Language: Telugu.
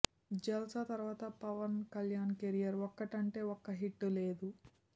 జల్సా తర్వాత పవన్ కళ్యాణ్ కెరీర్ ఒక్కటంటే ఒక్క హిట్ లేదు